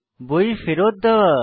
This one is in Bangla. বই ফেরত দেওয়া